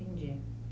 Entendi.